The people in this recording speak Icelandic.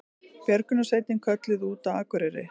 Björgunarsveitin kölluð út á Akureyri